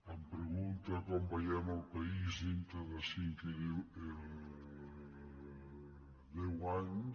em pregunta com veiem el país d’aquí a cinc i deu anys